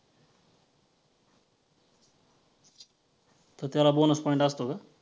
तर त्याला bonus point असतो का?